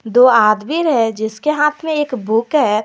दो आदमी हैं जिसके हाथ में एक बुक है।